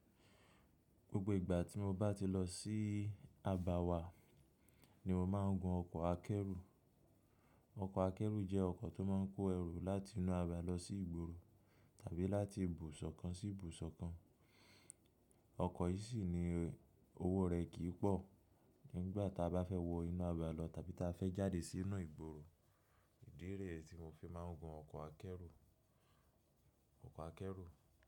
Gbogbo ìgbà tí mo bá ti lọ sí abà wà ní mo máa ń gun ọkọ̀ akẹ́rù. Ọkọ̀ akẹ́rù jẹ́ ọkọ̀ tó máa ń kó ẹrù láti inú abà lọ sí ìgboro tàbí láti ibùsọ̀ kan sí ibùsọ̀ kan. Ọkọ yii sini owo rẹ kii pọ, kin gba taba fẹ wọ inu aba lọ tabi ta fẹ jade sinu igboro. Ìdí rẹ̀ tí mo fi máa ń gun ọkọ̀ akẹ́rù, ọkọ̀ akẹ́rù.